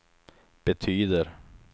betyder